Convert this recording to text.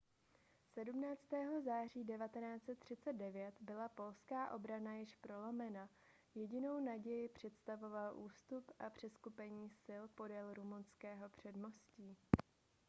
17. září 1939 byla polská obrana již prolomena a jedinou naději představoval ústup a přeskupení sil podél rumunského předmostí